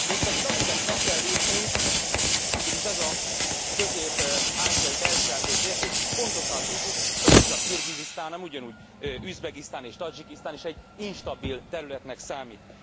Mégpedig amiket meg kell lépnünk, ugyanis ez a közép ázsiai, belső ázsiai térség, pontosan tudjuk, hogy nem csak Kirgizisztán, hanem ugyanúgy Üzbegisztán és Tadzsikisztán is egy instabil területnek számít.